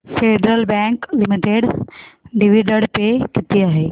federal bank limited dividend pay किती आहे